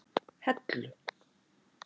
Hellu